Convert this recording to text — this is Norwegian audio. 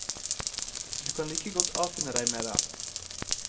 Du kan like godt avfinne deg med det.